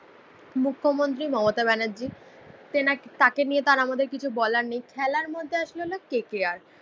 মুখ্যমন্ত্রী মমতা ব্যানার্জী। তেনাকে তাকে নিয়ে তো আমাদের আর কিছু বলার নেই, খেলার মধ্যে আসলে হলে কে কে আর